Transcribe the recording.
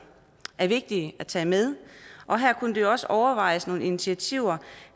er vigtige at tage med og her kunne der også overvejes nogle initiativer